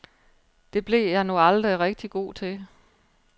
Det blev jeg nu aldrig rigtig god til.